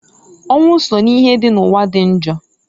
Ọnwụ so n'ihe dị n'ụwa dị njọ.